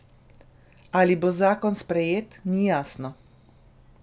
Ali bo zakon sprejet, ni jasno.